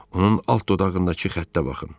Onun alt dodağındakı xəttə baxın.